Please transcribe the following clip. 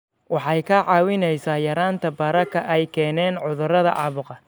Waxay kaa caawinaysaa yaraynta bararka ay keenaan cudurrada caabuqa.